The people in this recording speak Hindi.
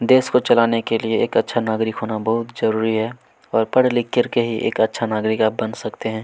देश को चलाने के लिए एक अच्छा नागरिक होना बहुत जरूरी है और पढ़ लिख करके ही एक अच्छा नागरिक आप बन सकते हैं।